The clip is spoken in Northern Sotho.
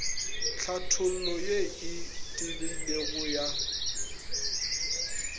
tlhathollo ye e tebilego ya